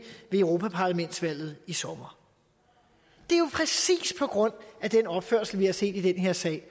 ved europaparlamentsvalget i sommer det er jo præcis på grund af den opførsel vi har set i den her sag